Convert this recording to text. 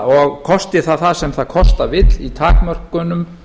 og kosti þá það sem það kosta vill í takmörkunum